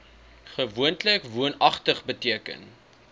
gewoonlik woonagtig beteken